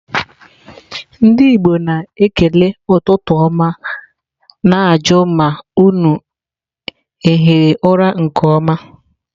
Ndi Igbo na-ekele ututu oma na-aju ma unu ahiri ura nke oma.